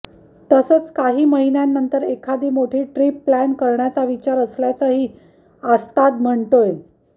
तसंच काही महिन्यांनंतर एखादी मोठी ट्रीप प्लॅन करण्याचा विचार असल्याचंही आस्ताद म्हणतोय